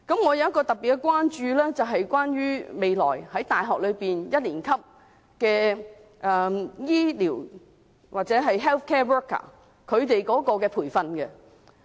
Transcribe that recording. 我特別關注的是未來大學一年級的醫療人員或 health care worker 的培訓情況。